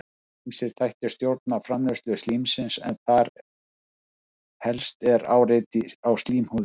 ýmsir þættir stjórna framleiðslu slímsins en þar helst er áreiti á slímhúðina